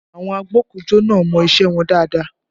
Àwọn agbokujo náà mọ isẹ wọn dáadáa